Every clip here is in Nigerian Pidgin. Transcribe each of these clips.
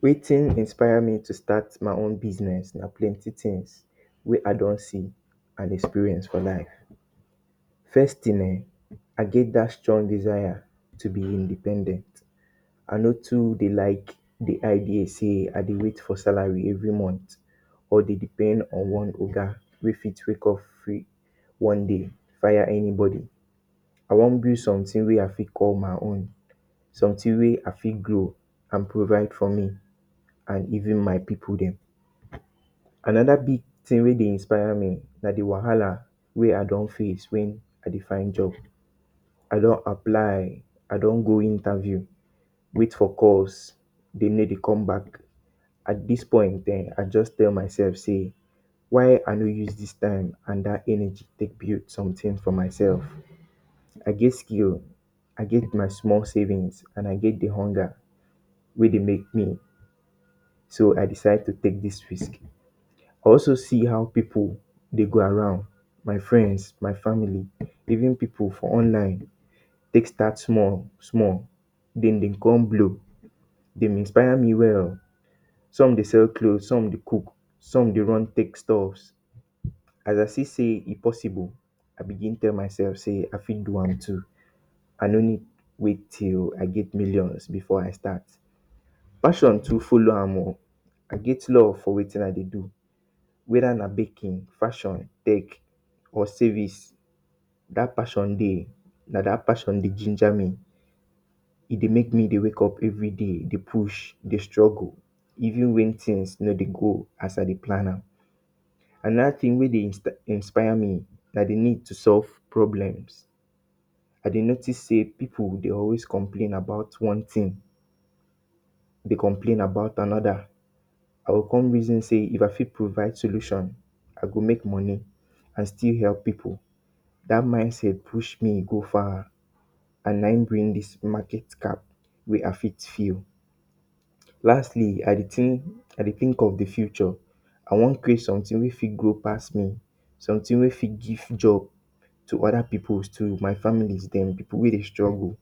Wetin inspire me to start my own business na plenty things wey I don see and experience for life. First thing ehn, I get dat strong desire to be independent, I no too de like de argue sey I dey wait for salary every month or dey depend on one oga wey fit wakeup free one day fire any body. I wan build something wey I fit call my own, something wey I fit grow and provide for me and even my pipu dem. Another big thing wey de inspire me na de wahala wey I don face when I de find job I don apply, I don go interview, wait for calls, de no dey come back, at this point now I just tell myself sey why I no use this time and that energy take build something for myself. I get skills, I get my small savings and I get de hunger wey de make me, so I decide to take this risk. I also see how pipu de go around my friends, my family even pipu for online take start small small then dem come blow e de inspire me well. some de sale cloth, some de cook, some dey run take stuffs as I see sey e possible, I begin tell my self sey i fit do am too I no need wait till I get millions before I start. passion too follow am o I get love for wetin I dey do whether na baking, fashion, tech or savings dat passion dey na dat passion dey ginger me e dey make me de wakeup everyday dey push, dey struggle even when things no dey go as I dey plan am. Another thing wey dey inspire me na de need to solve problems I dey notice sey pipu dey always complain about one thing, dey complain about another I go come reason sey, If I go fit provide solution I go make money I still help pipu dat mind set push me go far and na em bring dis market cap wey I fit feel. Lastly I dey think of de future I wan create something wey fit grow pass me, something wey fit give job to other pipu, my family dem, pipu wey dey struggle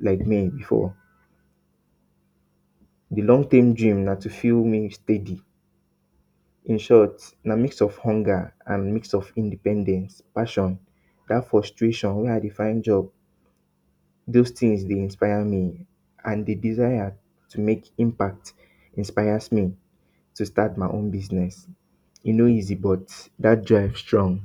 like me before. de long thing gym na to three meal steady in short na mix of hunger and mix of independence, passion, that frustration wey I dey find job those things de inspire me and d desire to make impact inspires me to start my own business e no easy but det strives join